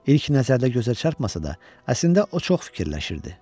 İlk nəzərdə gözə çarpmasa da, əslində o çox fikirləşirdi.